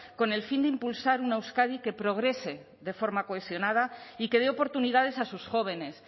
con el fin de impulsar una euskadi que progrese de forma cohesionada y que dé oportunidades a sus jóvenes